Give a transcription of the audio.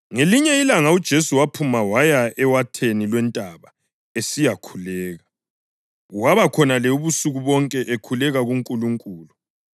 Ngelinye ilanga uJesu waphuma waya ewatheni lwentaba esiya khuleka, waba khonale ubusuku bonke ekhuleka kuNkulunkulu.